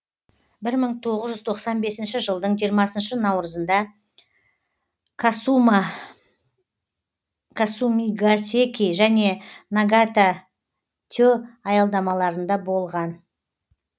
бір мың тоғыз жүз тоқсан бесінші жылдың жиырмасыншы наурызында касумигасэки және нагатате аялдамаларында болған